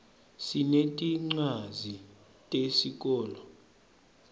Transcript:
sinetincwadzi tesikolo